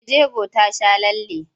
Mai jego ta sha lalle.